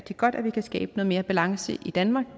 godt at vi kan skabe noget mere balance i danmark